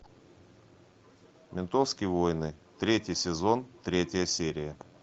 ментовские войны третий сезон третья серия